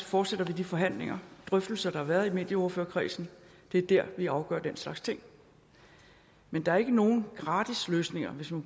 fortsætte de forhandlinger og drøftelser der har været i medieordførerkredsen det er der vi afgør den slags ting men der er ikke nogen gratis løsninger hvis man